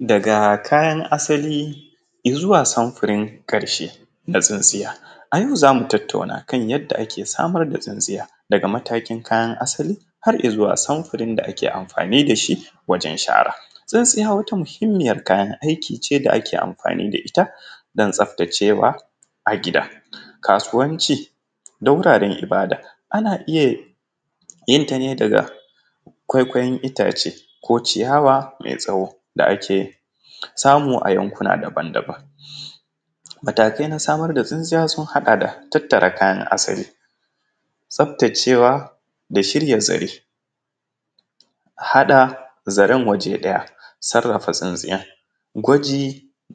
Daga kayan asali ya zuwa samfirin karshe na tsintsiya, a yau zamu tattauna kan yadda ake samar da tsintsiya daga matakin kayan asali har ya zuwa samfirin da ake amfanida shi wajen shara tsintsiya wata muhimmiyar kayan aiki ne da ake amfani da ita don tsaftacewa a gida. Kasuwanci da wuraren ibada ana iya yenta ne daga ƙwaiƙwayon itace ko ciyawa mai tsawo da ake samu a yankuna daban-daban, matake samar da tsintsiya sun haɗa da tattare kayan asaki, tsaftacewa da shirya zare, haɗa zaran waje ɗaya, sarafa tsintsiya, gwaji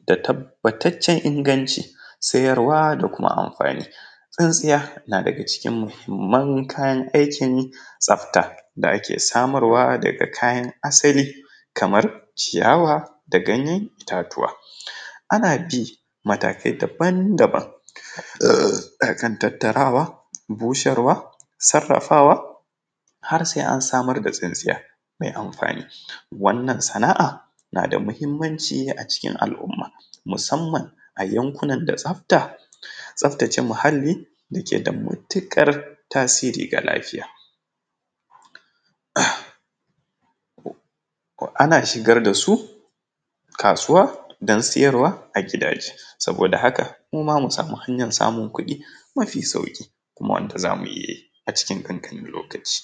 da tabbatacen inganci, siyarwa da kuma amfani. Tsintsiya na daga cikin muhimman kayan aikin tsafta da ake samarwa daga kayan asali kamar ciyawa da ganye itatuwa, ana bin matakai daban-daban kan tattarwa busarwa sarafawa har sai an samar da tsintsiya mai amfani wannan sana’a na da muhimmanci a cikin al’umma musamman a yankunan da tsafta tsaftace muhali da ke da matukar tasiri ga lafiya, ana cigar da su kasuwa don siyarwa a gidaje saboda haka muma mu samu hanyar samun kuɗi mafi sauki kuma wanda zamu iya yi a cikin dan kankanin lokaci.